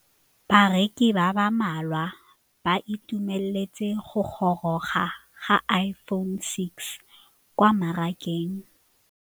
Bareki ba ba malwa ba ituemeletse go gôrôga ga Iphone6 kwa mmarakeng.